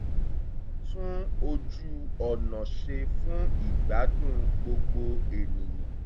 wọ́n tún ojú ọ̀nà ṣe fún ìgbádùn gbogbo ènìyàn